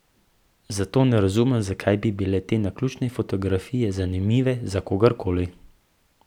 Zato ne razumem, zakaj bi bile te naključne fotografije zanimive za kogarkoli.